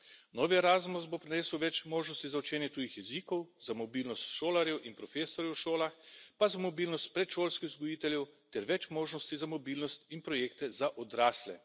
Novi Erasmus bo prinesel več možnosti za učenje tujih jezikov, za mobilnost šolarjev in profesorjev v šolah, pa za mobilnost predšolskih vzgojiteljev ter več možnosti za mobilnost in projekte za odrasle.